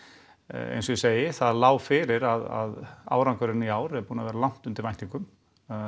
eins og ég segi það lá fyrir að árangurinn í ár er búinn að vera langt undir væntingum